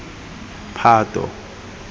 phato